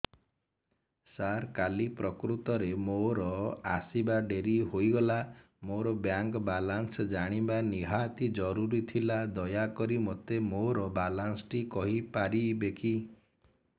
ସାର କାଲି ପ୍ରକୃତରେ ମୋର ଆସିବା ଡେରି ହେଇଗଲା ମୋର ବ୍ୟାଙ୍କ ବାଲାନ୍ସ ଜାଣିବା ନିହାତି ଜରୁରୀ ଥିଲା ଦୟାକରି ମୋତେ ମୋର ବାଲାନ୍ସ ଟି କହିପାରିବେକି